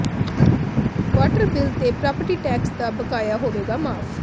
water bill ਤੇ property tax ਦਾ ਬਕਾਇਆ ਹੋਵੇਗਾ ਮਾਫ਼